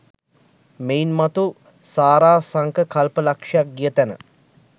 මෙයින් මතු සාරාසංඛ්‍ය කල්ප ලක්ෂයක් ගිය තැන